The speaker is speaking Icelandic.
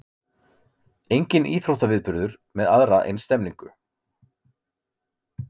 Enginn íþróttaviðburður með aðra eins stemningu